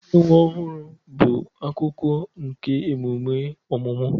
Inye nwa ọhụrụ bụ akụkụ nke emume ọmụmụ